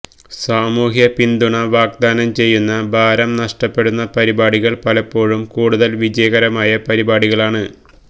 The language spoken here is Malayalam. സാമൂഹ്യ പിന്തുണ വാഗ്ദാനം ചെയ്യുന്ന ഭാരം നഷ്ടപ്പെടുന്ന പരിപാടികൾ പലപ്പോഴും കൂടുതൽ വിജയകരമായ പരിപാടികളാണ്